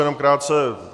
Jenom krátce.